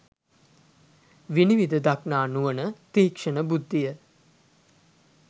විනිවිද දක්නා නුවණ, තීක්‍ෂණ බුද්ධිය